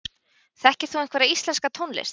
Þekkir þú einhverja íslenska tónlist?